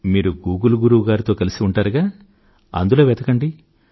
మీరు గూగుల్ గురువు గారితో కలిసి ఉంటారుగా అందులో వెతకండి